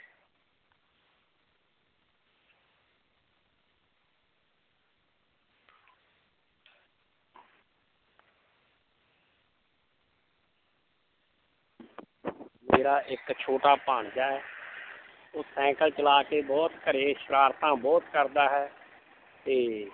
ਮੇਰਾ ਇੱਕ ਛੋਟਾ ਭਾਣਜਾ ਹੈ ਉਹ ਸਾਇਕਲ ਚਲਾ ਕੇ ਬਹੁਤ ਘਰੇ ਸ਼ਰਾਰਤਾਂ ਬਹੁਤ ਕਰਦਾ ਹੈ ਤੇ